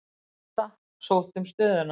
Átta sóttu um stöðuna.